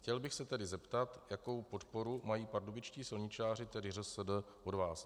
Chtěl bych se tedy zeptat, jakou podporu mají pardubičtí silničáři, tedy ŘSD, od vás.